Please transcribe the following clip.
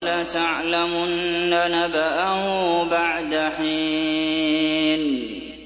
وَلَتَعْلَمُنَّ نَبَأَهُ بَعْدَ حِينٍ